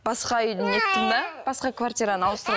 басқа үйді не еттім де басқа квартираны